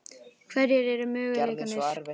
Hverjir eru möguleikarnir?